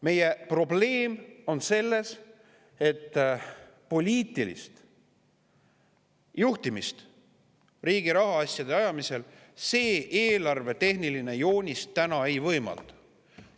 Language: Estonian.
Meie probleem on selles, et poliitilist juhtimist riigi rahaasjade ajamisel see eelarvetehniline joonis ei võimalda.